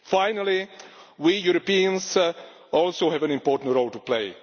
Finally, we Europeans also have an important role to play.